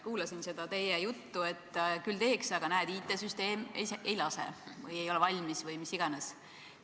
Kuulasin seda teie juttu, et küll teeks, aga näed, IT-süsteem ei lase või see ei ole valmis või mis iganes.